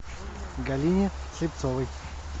галине слепцовой